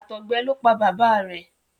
àtọgbẹ ló pá bàbá rẹ.